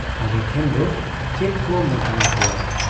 ᱟᱞᱮ ᱴᱷᱮᱱ ᱫᱚ ᱪᱮᱫ ᱠᱚ ᱢᱮᱛᱟ ᱟᱠᱚᱣᱟ ᱾